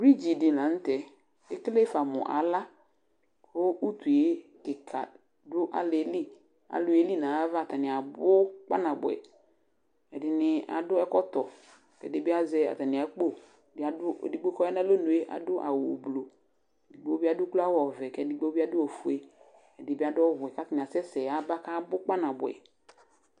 Brɩdzi dɩ la nʋ tɛ, ekele fa mʋ ala ,kʋ utuye kɩka dʋ alɩɛliAlʋ yeli nayava atanɩ abʋ kpanabʋɛ; ɛdɩnɩ adʋ ɛkɔtɔ, ɛdɩ bɩ azɛ atamɩ akpo, ɛdɩ adʋ ,edigbo kɔya nalonue adʋ awʋ blu, edigbo bɩ adʋ ukloawʋ ɔvɛ, kɛdɩgbo bɩ adʋ ofue Ɛdɩ bɩadʋ ɔwɛ katanɩ asɛsɛ yaba kabʋ kpanabʋɛ